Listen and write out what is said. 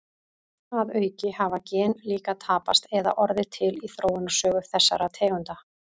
Að auki hafa gen líka tapast eða orðið til í þróunarsögu þessara tegunda.